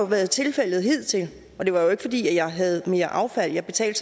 været tilfældet hidtil det var jo ikke fordi jeg havde mere affald jeg betalte